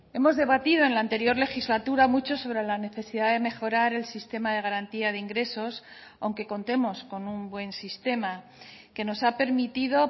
hemos debatido en la anterior legislatura mucho sobre la necesidad de mejorar el sistema de garantía de ingresos aunque contemos con un buen sistema que nos ha permitido